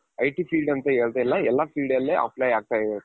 IT field ಅಂತಹೇಳ್ತಾ ಇಲ್ಲ ಎಲ್ಲಾ field ಅಲ್ಲಿ apply ಆಗ್ತಾ ಇದೆ.